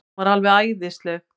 Hún var alveg æðisleg.